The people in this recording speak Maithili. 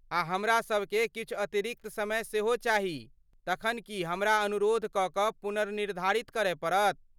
आ हमरासभ केँ किछु अतिरिक्त समय सेहो चाही, तखन की हमरा अनुरोध कऽ कऽ पुनर्निर्धारित करय पड़त?